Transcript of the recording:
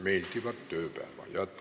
Meeldivat tööpäeva jätku!